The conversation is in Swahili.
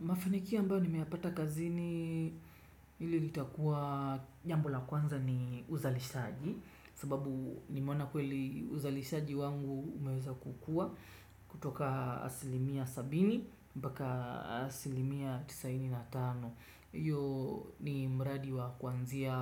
Mafanikio ambayo nimeyapata kazini ili litakua jambo la kwanza ni uzalishaji sababu nimeona kweli uzalishaji wangu umeweza kukua kutoka asilimia sabini mbaka asilimia tisaini na tano. Iyo ni mraadi wa kuanzia kutoka asilimia sabini mbaka asilimia